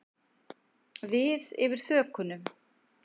Við yfir þökunum.